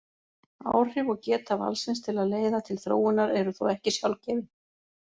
Áhrif og geta valsins til að leiða til þróunar eru þó ekki sjálfgefin.